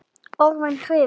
Orðin hrifu.